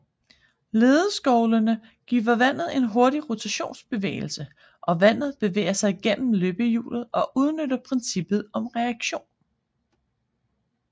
Ledeskovlene giver vandet en hurtig rotationsbevægelse og vandet bevæger sig genneom løbehjulet og udnytter princippet om reaktion